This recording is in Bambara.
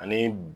Ani